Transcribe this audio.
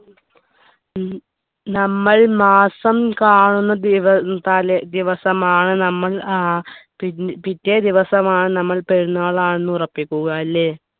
ഈ നമ്മൾ മാസം കാണുന്ന ദിവ ഏർ തലേ ഉം ദിവസമാണ് നമ്മൾ ഏർ പി പിറ്റേ ദിവസമാണ് നമ്മൾ പെരുന്നാളാണ് ഉറപ്പിക്കുക അല്ലേ